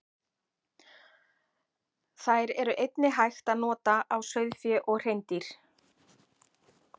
Þær er einnig hægt að nota á sauðfé og hreindýr.